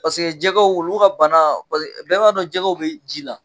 Paseke jɛgɛw olu ka bana pase bɛɛ b'a dɔn jɛgɛw be ji la.